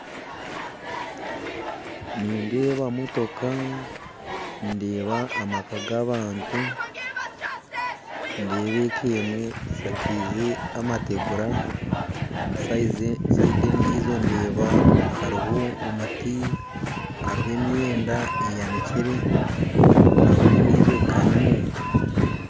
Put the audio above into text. Nindeeba motoka ndeeba amaka g'abantu ndeeba eka emwe eshakiize amategura sayidi endiijo ndeeba hariho hariho omuti hariho emyenda eyanikire hariho n'endiijo eka y'omuntu.